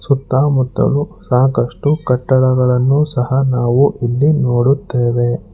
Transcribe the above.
ಸುತ್ತಮುತ್ತಲು ಸಾಕಷ್ಟು ಕಟ್ಟಡಗಳನ್ನು ಸಹ ನಾವು ಇಲ್ಲಿ ನೋಡುತ್ತೇವೆ.